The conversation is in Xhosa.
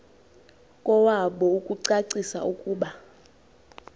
kowabo ukucacisa ukuba